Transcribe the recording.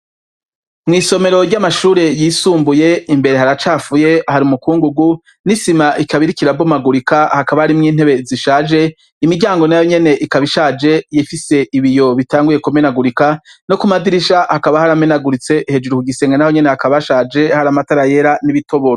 Mwisomero ryamashure yisumbuye imbere, haracafuye ,hari umukungugu, nisima ikaba irikonirabomagurika, harimwo nintebe zishaje ,imiryango nayonyene ikaba ishaje, Ifise ibiyo bitanguye kumenagurika no Kumadirisha hakaba haramenaguritse, hejuru ku gisenge hakaba hashaje hari amatara yera nibitoboro.